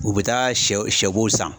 U bɛ taa shɛw shɛbo san.